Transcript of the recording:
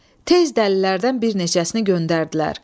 Tez dəlilərdən bir neçəsini göndərdilər.